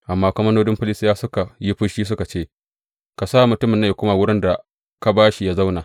Amma komandodin Filistiyawa suka yi fushi, suka ce, Ka sa mutumin nan yă koma zuwa wurin da ka ba shi yă zauna.